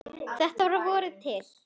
Þetta var að vori til.